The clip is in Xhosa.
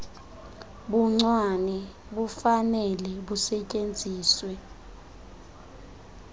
buncwane bufanele busetyenziswe